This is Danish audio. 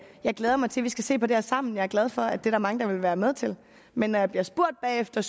jeg glædede mig til at vi skal se på det her sammen jeg er glad for at der er mange der vil være med til det men når jeg bliver spurgt bagefter